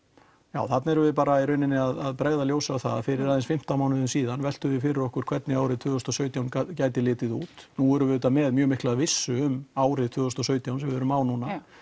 já þarna erum við að bregða ljósi á það að fyrir aðeins fimmtán mánuðum síðan veltum við fyrir okkur hvernig árið tvö þúsund og sautján gæti litið út nú erum við auðvitað með mjög mikla vissu um árið tvö þúsund og sautján sem við erum á núna